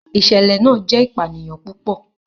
ìsẹ̀lẹ̀ náà jẹ́ ìpànìyàn púpọ̀.